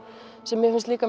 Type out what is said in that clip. sem mér finnst líka